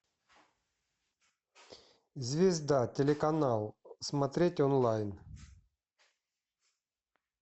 звезда телеканал смотреть онлайн